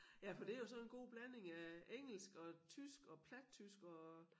Ja for det jo sådan en god blanding af engelsk og tysk og plattysk og